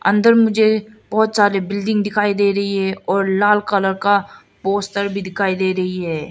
अंदर मुझे बहोत सारे बिल्डिंग दिखाई दे रही है और लाल कलर का पोस्टर भी दिखाई दे रही है।